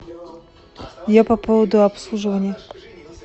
я по поводу обслуживания